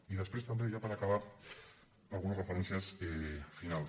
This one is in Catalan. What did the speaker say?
i després també ja per acabar algunes referències finals